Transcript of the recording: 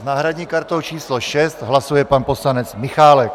S náhradní kartou číslo 6 hlasuje pan poslanec Michálek.